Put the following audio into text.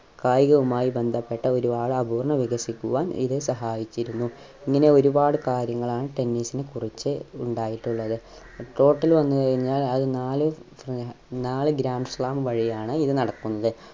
കായികവുമായി ബന്ധപ്പെട്ട ഒരുപാട് അപൂർണ്ണ വികസിക്കുവാൻ ഇത് സഹായിച്ചിരുന്നു ഇങ്ങനെ ഒരുപാട് കാര്യങ്ങളാണ് tennis നെ കുറിച്ച് ഉണ്ടായിട്ടുള്ളത് court ൽ വന്നു കഴിഞ്ഞാൽ അത് നാല് ഏർ നാല് grand slam വഴിയാണ് ഇത് നടക്കുന്നത്